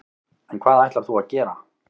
En hvað ætlar þú að gera?